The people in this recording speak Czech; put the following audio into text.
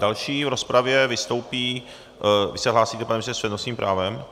Další v rozpravě vystoupí... vy se hlásíte, pane ministře, s přednostním právem?